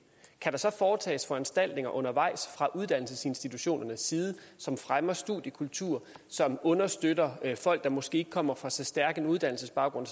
kan der så foretages foranstaltninger undervejs fra uddannelsesinstitutionernes side som fremmer studiekultur som understøtter folk der måske ikke kommer fra så stærk en uddannelsesbaggrund